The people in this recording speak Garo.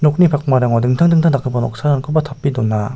nokni pakmarango dingtang dingtang dakgipa noksarangkoba tape dona.